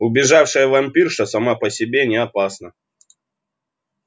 убежавшая вампирша сама по себе не опасна